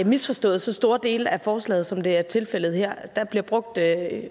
misforstået så store dele af forslaget som det er tilfældet her der bliver brugt